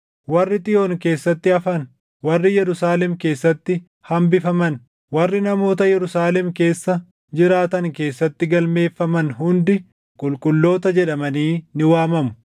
Warri Xiyoon keessatti hafan, warri Yerusaalem keessatti hambifaman, warri namoota Yerusaalem keessa jiraatan keessatti galmeeffaman hundi qulqulloota jedhamanii ni waamamu.